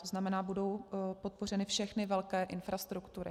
To znamená, budou podpořeny všechny velké infrastruktury.